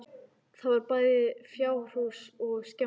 Þar var bæði fjárhús og skemma.